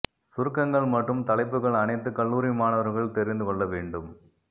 சுருக்கங்கள் மற்றும் தலைப்புகள் அனைத்து கல்லூரி மாணவர்கள் தெரிந்து கொள்ள வேண்டும்